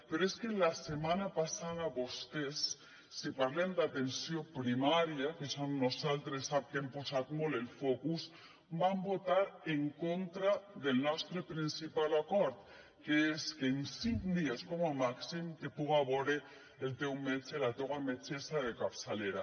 però és que la setmana passada vostès si parlem d’atenció primària que és on nosaltres sap que hem posat molt el focus van votar en contra del nostre principal acord que és que en cinc dies com a màxim te puga vore el teu metge la teua metgessa de capçalera